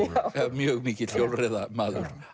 mjög mikill hjólreiðamaður